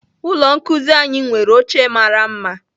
Ụlọ nkuzi anyị nwere oche mara mma